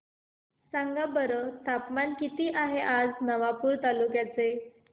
सांगा बरं तापमान किता आहे आज नवापूर तालुक्याचे